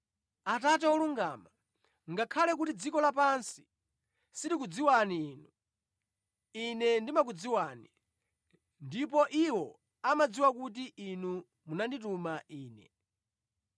“Atate wolungama, ngakhale kuti dziko lapansi silikudziwani Inu, Ine ndimakudziwani, ndipo iwo amadziwa kuti Inu munandituma Ine.